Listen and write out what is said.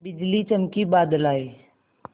बिजली चमकी बादल आए